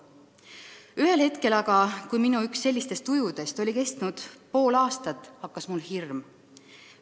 Ühel hetkel aga, kui minu üks sellistest tujudest oli kestnud pool aastat, hakkas mul hirm.